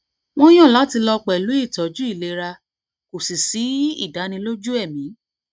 wọn yàn láti lọ pẹlú îtọjǔ îlera kò sì sí ìdánilójú ẹmí